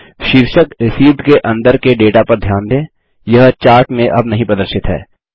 शीर्षक रिसीव्ड के अंदर के डेटा पर ध्यान दें यह चार्ट में अब नहीं प्रदर्शित है